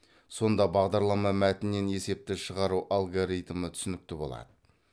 сонда бағдарлама мәтінінен есепті шығару алгоритмі түсінікті болады